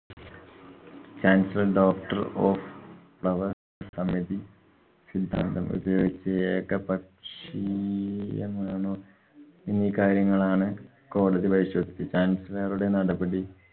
chancellor doctor of flower സമിതി സിദ്ധാന്തം ഉപയോഗിച്ച് എകപക്ഷീയമാണോ എന്നീ കാര്യങ്ങളാണ് കോടതി പരിശോധിപ്പിക്കാന്‍. chancellor റുടെ നടപടി